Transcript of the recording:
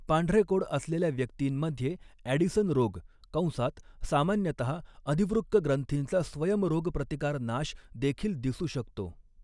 पांढरे कोड असलेल्या व्यक्तींमध्ये ॲडिसन रोग कंसात सामान्यतहा अधिवृक्क ग्रंथींचा स्वयंरोगप्रतिकार नाश देखील दिसू शकतो.